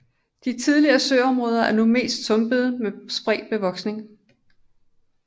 De tidligere søområder er nu mest sumpe med spredt bevoksning